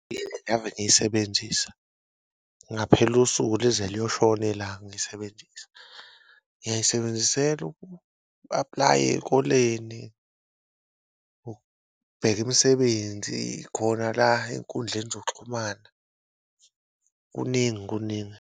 Eyi, ave ngiyisebenzisa ngaphela usuku lize liyoshona ilanga ngiyisebenzisa, ngiyayisebenzisela uku-aplaya ey'koleni, ukubheka imisebenzi khona la enkundleni zokuxhumana, kuningi kuningi.